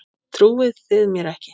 Trúið þið mér ekki?